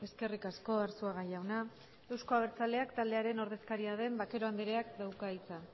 eskerrik asko arzuaga jauna euzko abertzaleak taldearen ordezkaria den vaquero andreak dauka hitza